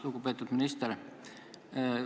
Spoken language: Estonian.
Lugupeetud minister!